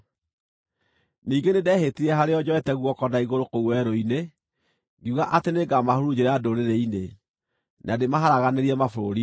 Ningĩ nĩndehĩtire harĩo njoete guoko na igũrũ kũu werũ-inĩ, ngiuga atĩ nĩngamahurunjĩra ndũrĩrĩ-inĩ, na ndĩmaharaganĩrie mabũrũri-inĩ,